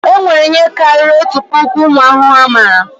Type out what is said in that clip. E nwere ihe karịrị otu puku ụmụ ahụhụ a mara